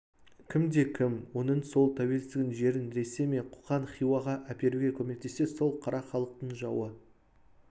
кімде-кім оның сол тәуелсіздігін жерін ресей немесе қоқан хиуаға әперуге көмектессе сол қара халықтың жауы